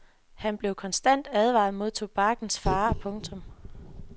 Han blev konstant advaret mod tobakkens farer. punktum